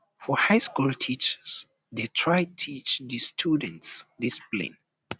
for high school teachers de try teach di students discipline